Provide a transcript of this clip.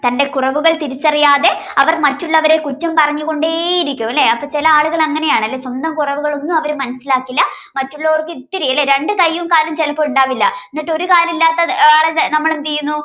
തന്റെ കുറവുകൾ തിരിച്ചറിയാതെ അവർ മറ്റുള്ളവരെ കുറ്റം പറഞ്ഞു കൊണ്ടേ ഇരിക്കും അല്ലെ അപ്പൊ ചിലയാളുകൾ അങ്ങനെയാണല്ലേ സ്വന്തം കുറവുകൾ ഒന്നും അവർ മനസ്സിലാക്കില്ല മറ്റുള്ളവർക്ക് ഇത്തിരി ലെ രണ്ടു കയ്യും കാലും ചിലപ്പോ ഉണ്ടാവില്ല എന്നിട്ട് ഒരു കാലില്ലാത്ത ആളെ ആഹ് നമ്മളെന്തു ചെയ്യുന്നു